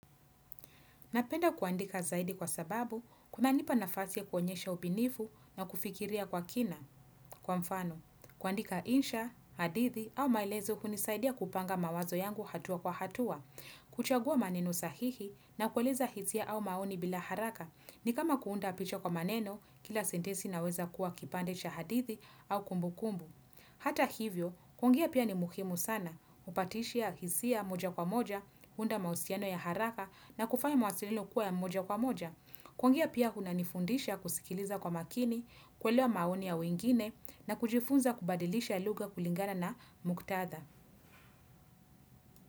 Napenda kuandika zaidi kwa sababu, kuna nipa nafasi ya kuonyesha upinifu na kufikiria kwa kina. Kwa mfano, kuandika insha, hadithi au maelezo hunisaidia kupanga mawazo yangu hatua kwa hatua, kuchagua maneno sahihi na kueleza hisia au maoni bila haraka, ni kama kuunda picha kwa maneno, kila sentesi inaweza kuwa kipande cha hadithi au kumbu kumbu. Hata hivyo, kuongea pia ni muhimu sana, upatishia hisia moja kwa moja, huunda mahusiano ya haraka na kufanya mawasililo kuwa ya moja kwa moja. Kuongea pia kuna nifundisha kusikiliza kwa makini, kuelewa maoni ya wengine na kujifunza kubadilisha luga kulingana na muktatha.